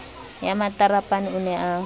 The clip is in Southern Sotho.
ya matarapane o ne a